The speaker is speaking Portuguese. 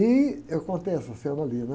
E eu contei essa cena ali, né?